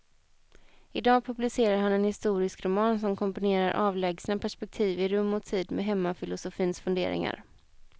Idag publicerar han en historisk roman som kombinerar avlägsna perspektiv i rum och tid med hemmafilosofins funderingar.